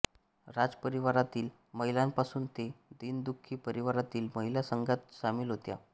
राजपरीवारातील महिलांपासून ते दीनदुःखी परिवारातील महिला संघात सामील होत्या